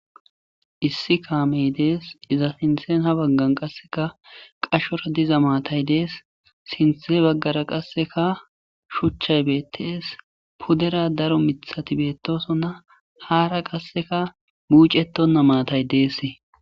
Issi kaamey dees iza sinthen ha baggan qasseka qashora diza maatay dees sinthe baggara qasseka shuchchay beettees pudera daro mithati beettosonna haara qasseka mucetonna maatay dees.